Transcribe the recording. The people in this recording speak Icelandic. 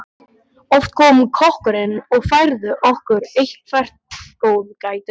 Oft kom kokkurinn og færði okkur eitthvert góðgæti.